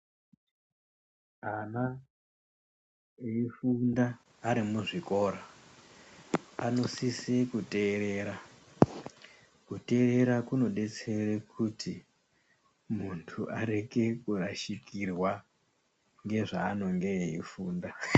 Ana eyifunda vari muzvikora panosise kuterera kuterera kunodetsera kuti muntu arege kurasikirwa ngezvanenge eyifunda.